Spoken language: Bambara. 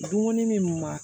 Dumuni min ma